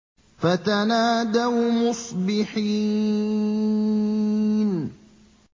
فَتَنَادَوْا مُصْبِحِينَ